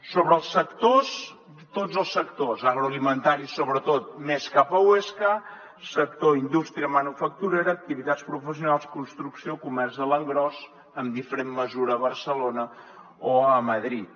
sobre els sectors tots els sectors agroalimentaris sobretot més cap a huesca sector indústria manufacturera activitats professionals construcció comerç a l’engròs en diferent mesura a barcelona o a madrid